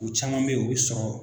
U caman bɛ yen o bɛ sɔrɔ